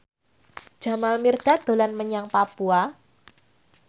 Jamal Mirdad dolan menyang Papua